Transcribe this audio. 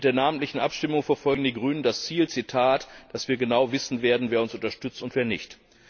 Denn mit der namentlichen Abstimmung verfolgen die Grünen das Ziel, Zitat dass wir genau wissen werden, wer uns unterstützt und wer nicht.